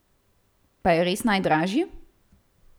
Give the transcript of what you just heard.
Pa je res najdražji?